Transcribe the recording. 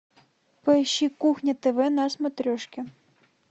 поищи кухня тв на смотрешке